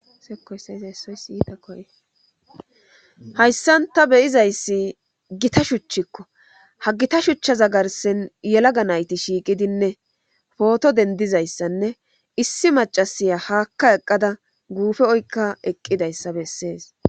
Sekoysayza essoysiyitakoye hayssanta beyizayssi gita shuchchikko ha gita shuchcha za garsen yelaga nayti shiiqidinne pooto dendizayssanne issi macasiya haakka eqqada guufe oykka eqqidayssa bessees.